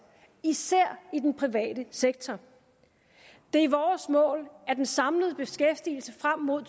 især i den private sektor det er vores mål at den samlede beskæftigelse frem mod